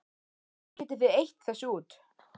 Kannski getið þið eytt þessu út?